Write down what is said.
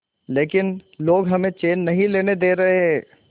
लेकिन लोग हमें चैन नहीं लेने दे रहे